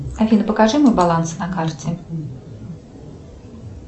афина покажи мой баланс на карте